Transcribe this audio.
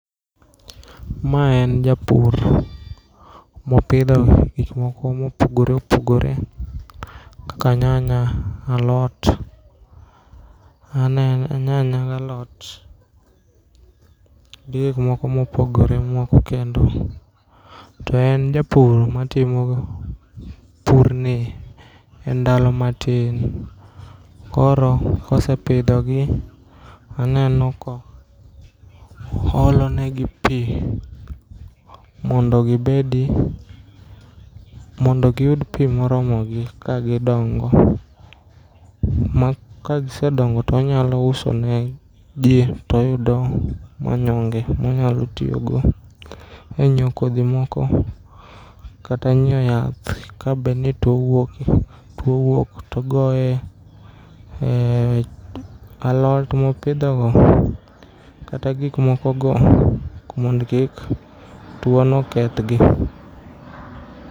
Ma en japur, mopidho gik moko mopogore opogore kaka nyanya, alot, anen nyanya galot. Gi gikmoko mopogore moko kendo. To en japur matimo pur ni e ndalo matin, koro kosepidhogi, aneno ko oolonegi pi. Mondo gibedi, mondo giyud pi moromo gi ka gidongo. Ma kagisedongo tonyalo uso ne ji toyudo manyonge monyalo tiyogo e nyiewo kodhi moko, kata nyiewo yath. Ka bedni tuo wuoke, towuok togoye e alot mopidhogo, kata gik moko go mondo kik tuono keth gi.